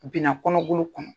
Binna kɔnɔbolo kɔnɔ.